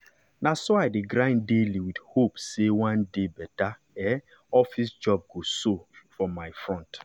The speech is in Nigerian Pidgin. na so i dey grind daily with hope say one day better um office job go show for my front.